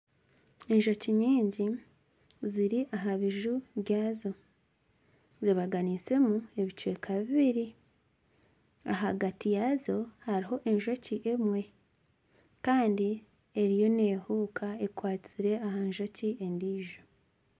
Enjoki nyingi ziri aha biju byazo zebaganiisemu ebicweka bibiri. Ahagati yaazo hariho enjoki emwe. Kandi eriyo neehuka ekwatsire aha njoki endiijo.